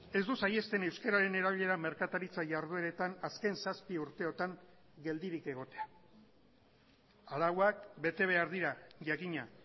ez du saihesten euskararen erabilera merkataritza jardueretan azken zazpi urteotan geldirik egotea arauak bete behar dira jakina